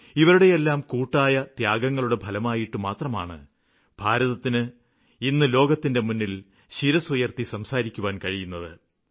ഇവരുടെയെല്ലാം കൂട്ടായ ത്യാഗങ്ങളുടെ ഫലമായിട്ട് മാത്രമാണ് ഭാരതത്തിന് ഇന്ന് ലോകത്തിന്റെ മുന്നില് ശിരസ്സുയര്ത്തി സംസാരിക്കുവാന് കഴിയുന്നത്